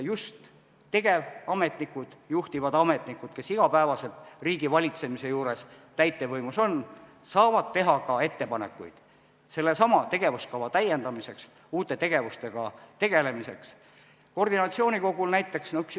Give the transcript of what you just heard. Just tegevametnikud, juhtivad ametnikud, kes iga päev riigivalitsemise juures täitevvõimuasutustes on, saavad teha ettepanekuid sellesama tegevuskava täiendamiseks ja uute tegevuste kohta.